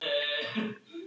Oss hafa augun þessi